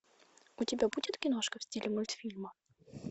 у тебя будет киношка в стиле мультфильма